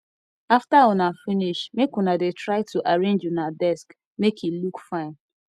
after una finish make una dey try to arrange una desk make e look fine